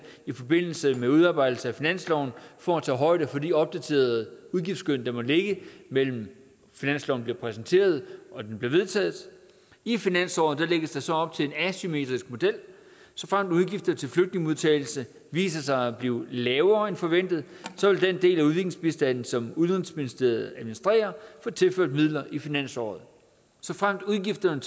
i forbindelse med udarbejdelse af finansloven for at tage højde for de opdaterede udgiftsskøn der må ligge mellem finansloven bliver præsenteret og den bliver vedtaget i finansåret lægges der så op til en asymmetrisk model såfremt udgifter til flygtningemodtagelse viser sig at blive lavere end forventet vil den del af udviklingsbistanden som udenrigsministeriet administrerer få tilført midler i finansåret såfremt udgifterne